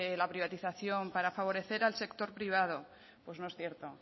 la privatización para favorecer al sector privado pues no es cierto